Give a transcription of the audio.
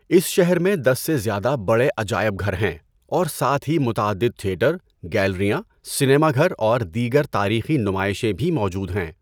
اس شہر میں دس سے زیادہ بڑے عجائب گھر ہیں، اور ساتھ ہی متعدد تھیٹر، گیلریاں، سینما گھر اور دیگر تاریخی نمائشیں بھی موجود ہیں۔